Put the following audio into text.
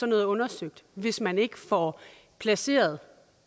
noget undersøgt hvis man ikke får placeret